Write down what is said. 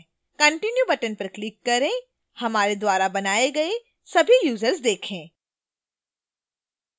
continue button पर click करें हमारे द्वारा बनाए गए सभी यूजर्स देखें